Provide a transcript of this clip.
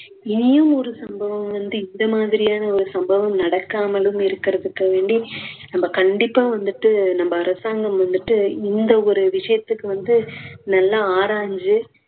இனியும் ஒரு சம்பவம் வந்து இந்த மாதிரியான ஒரு சம்பவம் நடக்காமலும் இருக்குறதுக்கு வேண்டி நம்ம கண்டிப்பா வந்துட்டு நம்ம அரசாங்கம் வந்துட்டு இந்த ஒரு விஷயத்துக்கு வந்து நல்லா ஆராய்ஞ்சு